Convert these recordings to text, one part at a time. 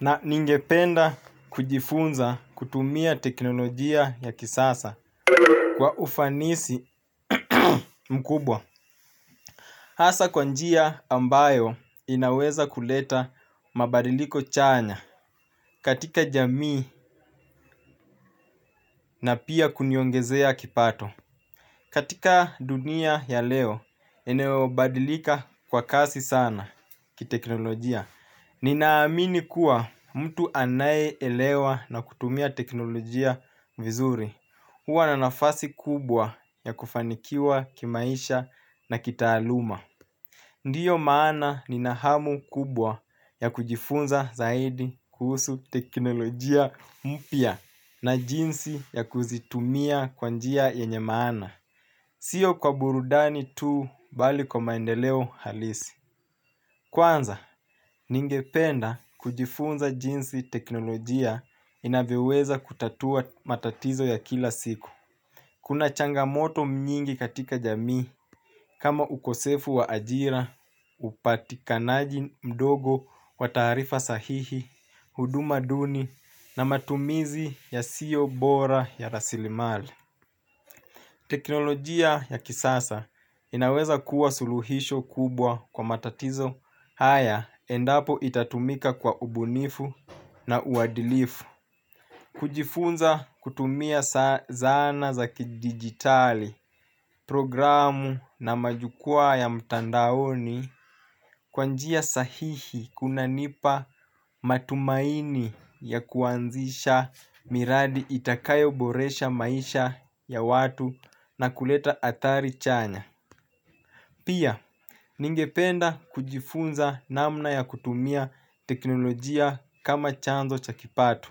Na ningependa kujifunza kutumia teknolojia ya kisasa kwa ufanisi mkubwa hasa kwa njia ambayo inaweza kuleta mabadiliko chanya katika jamii na pia kuniongezea kipato. Katika dunia ya leo eneo badilika kwa kasi sana ki teknolojia. Nina amini kuwa mtu anaye elewa na kutumia teknolojia vizuri. Huwa na nafasi kubwa ya kufanikiwa kimaisha na kitaaluma. Ndiyo maana nina hamu kubwa ya kujifunza zaidi kuhusu teknolojia mpya. Na jinsi ya kuzitumia kwa njia yenye maana sio kwa burudani tu bali kwa maendeleo halisi. Kwanza, ningependa kujifunza jinsi teknolojia inavyoweza kutatua matatizo ya kila siku. Kuna changamoto nyingi katika jamii kama ukosefu wa ajira, upatikanaji mdogo wa taarifa sahihi, huduma duni na matumizi yasiyo bora ya rasilimali. Teknolojia ya kisasa inaweza kuwa suluhisho kubwa kwa matatizo haya endapo itatumika kwa ubunifu na uadilifu. Kujifunza kutumia zana za kidigitali programu na majukwaa ya mtandaoni kwa njia sahihi kunanipa matumaini ya kuanzisha miradi itakayo boresha maisha ya watu na kuleta athari chanya. Pia, ningependa kujifunza namna ya kutumia teknolojia kama chanzo cha kipato.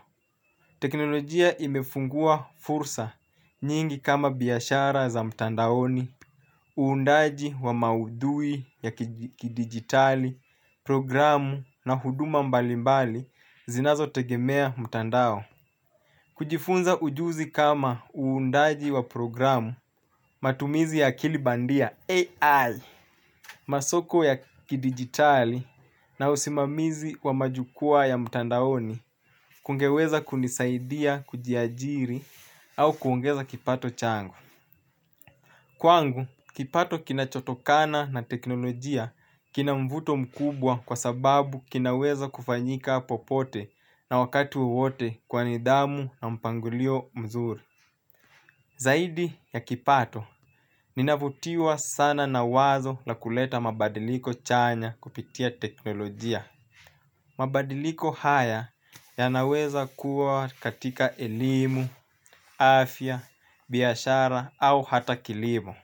Teknolojia imefungua fursa nyingi kama biashara za mtandaoni, uundaji wa maudhui ya kidigitali, programu na huduma mbalimbali zinazo tegemea mtandao. Kujifunza ujuzi kama uundaji wa programu, matumizi ya kilibandia AI, masoko ya kidigitali na usimamizi wa majukwaa ya mtandaoni. Kungeweza kunisaidia kujiajiri au kuongeza kipato changu. Kwangu, kipato kinacho tokana na teknolojia kina mvuto mkubwa kwa sababu kinaweza kufanyika popote na wakatuiwote kwa nidhamu na mpangilio mzuri. Zaidi ya kipato ninavutiwa sana na wazo la kuleta madbadiliko chanya kupitia teknologia. Mabadiliko haya ya naweza kuwa katika elimu, afya, biyashara au hata kilimo.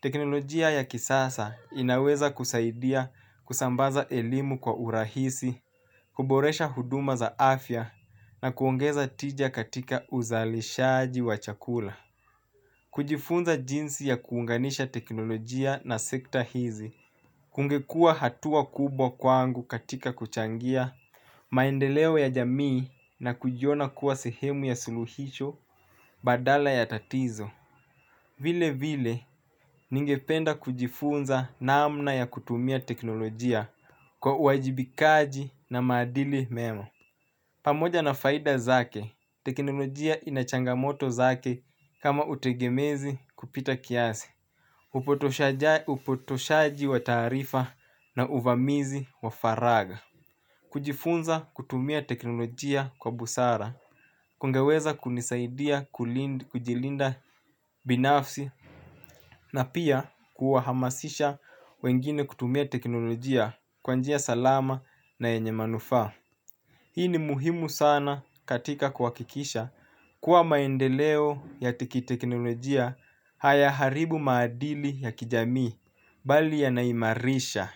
Teknolojia ya kisasa inaweza kusaidia kusambaza elimu kwa urahisi kuboresha huduma za afya na kuongeza tija katika uzalishaji wa chakula kujifunza jinsi ya kuunganisha teknolojia na sekta hizi kungekua hatua kubwa kwangu katika kuchangia maendeleo ya jamii na kujiona kuwa sehemu ya suluhisho badala ya tatizo. Vile vile ningependa kujifunza naamna ya kutumia teknolojia kwa uajibikaji na maadili mema. Pamoja na faida zake, teknolojia inachangamoto zake kama utegemezi kupita kiasi. Upotoshaji wa taarifa na uvamizi wa faragha kujifunza kutumia teknolojia kwa busara kungeweza kunisaidia kujilinda binafsi. Na pia kuwahamasisha wengine kutumia teknolojia kwa njia salama na yenye manufaa. Hii ni muhimu sana katika kuhakikisha kuwa maendeleo ya tiki teknolojia haya haribu maadili ya kijamii bali yanaimarisha.